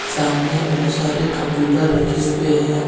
सामने बहुत सारे कंप्यूटर रखें हुए है हैं।